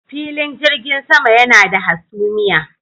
Filin jirgin sama yana da hasumiya.